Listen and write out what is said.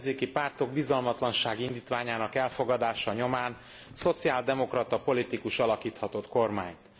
Az ellenzéki pártok bizalmatlansági indítványának elfogadása nyomán szociáldemokrata politikus alakíthatott kormányt.